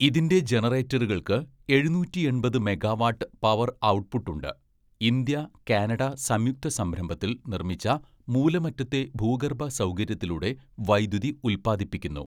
ഇതിന്റെ ജനറേറ്ററുകൾക്ക് എഴുന്നൂറ്റിയെണ്‍പത്‌ മെഗാവാട്ട് പവർ ഔട്ട്പുട്ട് ഉണ്ട്, ഇന്ത്യ, കാനഡ സംയുക്ത സംരംഭത്തിൽ നിർമ്മിച്ച മൂലമറ്റത്തെ ഭൂഗർഭ സൗകര്യത്തിലൂടെ വൈദ്യുതി ഉല്പാദിപ്പിക്കുന്നു.